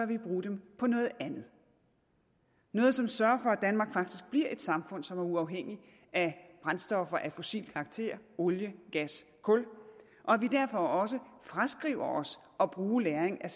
vi bruge dem på noget andet noget som sørger for at danmark faktisk bliver et samfund som er uafhængigt af brændstoffer af fossil karakter olie gas kul og at vi derfor også fraskriver os at bruge lagring af